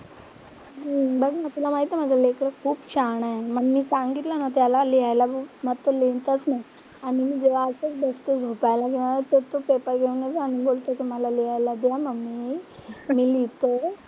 हम्म बघ ना, तुला माहितीये माझं लेकरं खूप शहाणा आहे. मग मी सांगितलं ना त्याला लिहायला मग तो लिहीतच नाही. आणि मी जेव्हा असंच बसते, झोपायला जेव्हा तर तो पेपर घेऊनच आणि बोलतो की मला लिहायला द्या मम्मी, मी लिहिते.